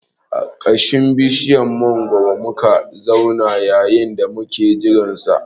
A ƙasan bishiyar mangwaro muka zauna yayin da muke jiran sa